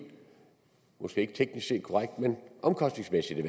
måske ikke teknisk set men omkostningsmæssigt i